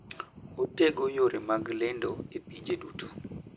Otego yore mag lendo e pinje duto.